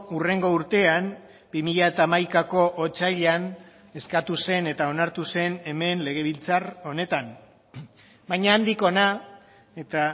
hurrengo urtean bi mila hamaikako otsailean eskatu zen eta onartu zen hemen legebiltzar honetan baina handik hona eta